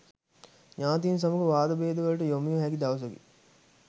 ඥාතීන් සමග වාදභේදවලට යොමුවිය හැකි දවසකි.